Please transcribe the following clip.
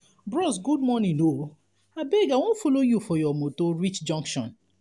bros good morning o abeg i wan folo you for your motor reach junction.